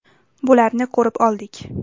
Bularni ko‘rib oldik.